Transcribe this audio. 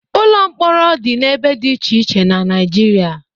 Ụlọ mkpọrọ dị n'ebe dị iche iche na Naịjirịa.